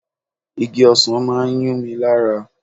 Igi ọsan máa ń yún mi lára.